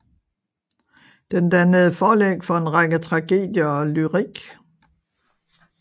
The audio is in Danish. Den dannede forlæg for en række tragedier og lyrik